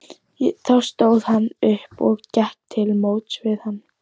Þá stóð hún upp og gekk til móts við hann.